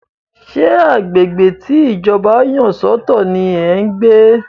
Ṣé agbègbè tí Ìjọba yà sọ̀tọ̀ ní ẹ́ ń gbé?